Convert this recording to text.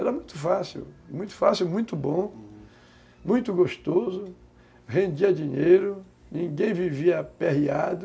Era muito fácil, muito fácil, muito bom, uhum, muito gostoso, rendia dinheiro, ninguém vivia aperreado,